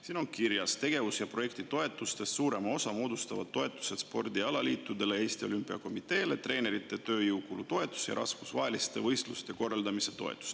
Siin on kirjas, et tegevus‑ ja projektitoetustest suurema osa moodustavad toetused spordialaliitudele ja Eesti Olümpiakomiteele, treenerite tööjõukulu toetus ja rahvusvaheliste võistluste korraldamise toetus.